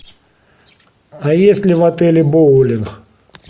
а есть ли в отеле боулинг